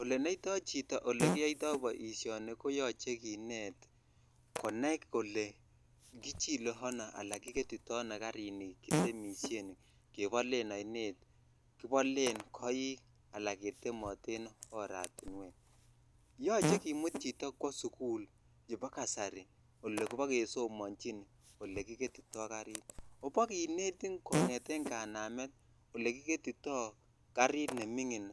Olenoito chito olegiyoito boisioni ko yoche kinet konai kole chile ano anankigetito ano karini kitemisien kebolen oinet, kibolen koik ana ketemematen oratinuek. Yoche kimut chito kwo sugul chebo kasari olebokesomanjin olekiketito karit. Oobokinetin kongeten kanamet olekiketito karit nemingin